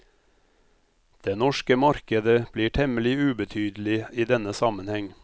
Det norske markedet blir temmelig ubetydelig i denne sammenheng.